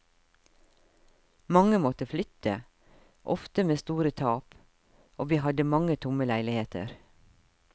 Mange måtte flytte, ofte med store tap, og vi hadde mange tomme leiligheter.